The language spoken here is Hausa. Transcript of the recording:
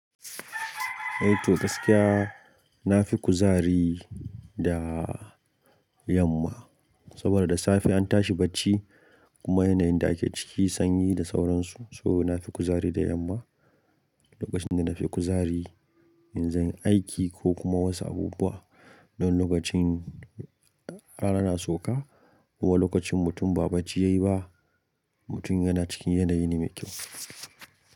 Eh to gaskiya na fi kuzari da yamma saboda da safe an tashi bacci kuma yanayin da ake ciki sanyi da sauransu. So na fi kuzari da yamma, lokacin da na fi kuzari in zan yi aiki ko kuma wasu abubuwa. Don lokacin rana na sauka, kuwa lokacin mutum ba bacci yayi ba, mutum yana cikin yanayi ne mai kyau.